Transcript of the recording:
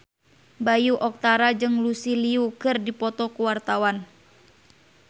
Bayu Octara jeung Lucy Liu keur dipoto ku wartawan